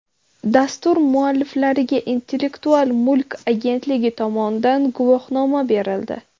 Dastur mualliflariga Intellektual mulk agentligi tomonidan guvohnoma berildi.